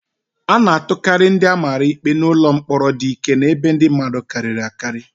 A na-atụkarị ndị a mara ikpe n'ụlọ mkpọrọ dị ike na ebe ndị mmadụ karịrị akarị.